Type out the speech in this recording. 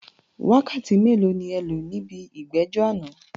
Wákàtí mélòó ni ẹ lò níbi ìgbẹ́jọ́ àná?